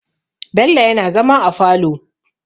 Bello yana zama a falo.